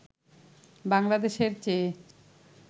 বাংলাদেশের চেয়ে